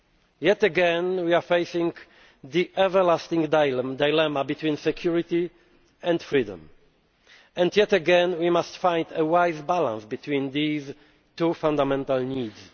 Yet again we face the everlasting dilemma between security and freedom, and yet again we must find a wise balance between these two fundamental needs.